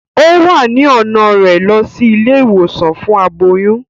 O wá ni ọna rẹ lọ sí ilé-ìwòsàn fún aboyún